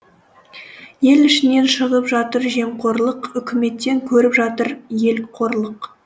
ел ішінен шығып жатыр жемқорлық үкіметтен көріп жатыр ел қорлық